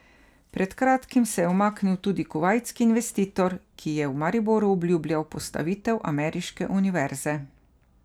Pred kratkim se je umaknil tudi kuvajtski investitor, ki je v Mariboru obljubljal postavitev ameriške univerze.